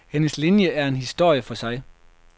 Hendes linje er en historie for sig.